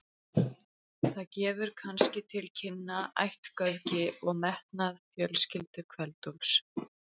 Það gefur kannski til kynna ættgöfgi og metnað fjölskyldu Kveld-Úlfs.